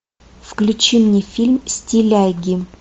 включи мне фильм стиляги